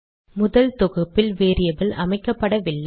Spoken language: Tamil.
முதல் தொகுப்பில் வேரியபிள் அமைக்கப்படவில்லை